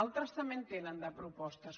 altres també en tenen de propostes